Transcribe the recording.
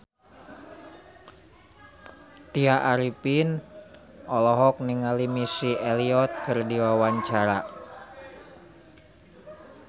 Tya Arifin olohok ningali Missy Elliott keur diwawancara